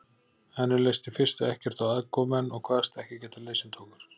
Henni leist í fyrstu ekkert á aðkomumenn og kvaðst ekki geta liðsinnt okkur.